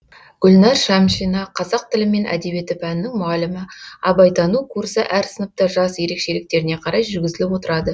гүлнәр шамшина қазақ тілі мен әдебиеті пәнінің мұғалімі абайтану курсы әр сыныпта жас ерекшеліктеріне қарай жүргізіліп отырады